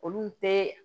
Olu tɛ